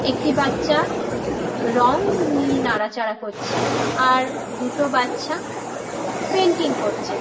একটি বাচ্চা রং নিয়ে নাড়াচাড়া করছে আর দুটো বাচ্চা পেইন্টিং করছে।